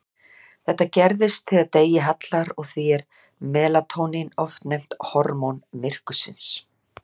Þetta gerist þegar degi hallar og því er melatónín oft nefnt hormón myrkursins.